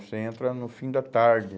Você entra no fim da tarde.